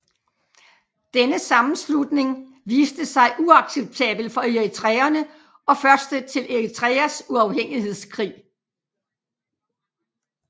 Denne sammenslutning viste sig uacceptabel for eritreerne og første til Eritreas uafhængighedskrig